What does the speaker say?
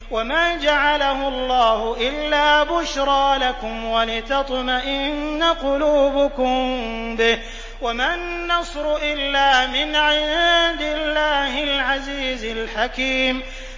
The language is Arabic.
وَمَا جَعَلَهُ اللَّهُ إِلَّا بُشْرَىٰ لَكُمْ وَلِتَطْمَئِنَّ قُلُوبُكُم بِهِ ۗ وَمَا النَّصْرُ إِلَّا مِنْ عِندِ اللَّهِ الْعَزِيزِ الْحَكِيمِ